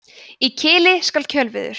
í kili skal kjörviður